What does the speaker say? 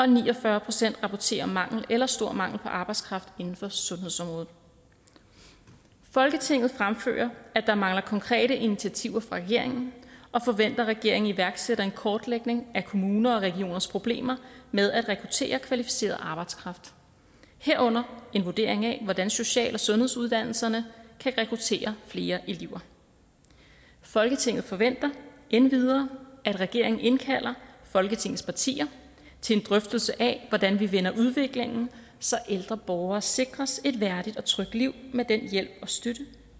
ni og fyrre procent rapporterer om mangel eller stor mangel på arbejdskraft inden for sundhedsområdet folketinget fremfører at der mangler konkrete initiativer fra regeringen og forventer at regeringen iværksætter en kortlægning af kommuner og regioners problemer med at rekruttere kvalificeret arbejdskraft herunder en vurdering af hvordan social og sundhedsuddannelserne kan rekruttere flere elever folketinget forventer endvidere at regeringen indkalder folketingets partier til en drøftelse af hvordan vi vender udviklingen så ældre borgere sikres et værdigt og trygt liv med den hjælp og støtte